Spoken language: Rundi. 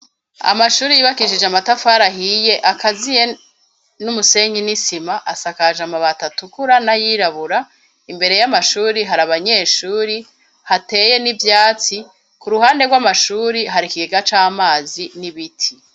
Amashuri yubakishije amatafari ahiye akaziye n'umusenyi n'isima asakaje amabati atukura n'ayirabura imbere y'amashure hari abanyeshuri hateye n'ivyatsi ku ruhande rw'amashure hari ikigega c'amazi n'ibiti.